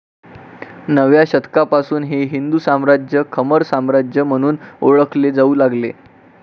नवव्या शतकापासून हे हिंदू साम्राज्य खमर साम्राज्य म्हणून ओळखले जाऊ लागले